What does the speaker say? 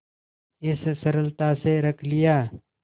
इस सरलता से रख लिया